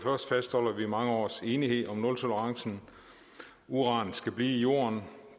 fastholder vi mange års enighed om nultolerancen uran skal blive i jorden